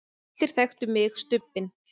allir þekktu mig, Stubbinn.